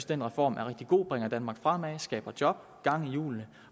den reform er rigtig god den bringer danmark fremad skaber job gang i hjulene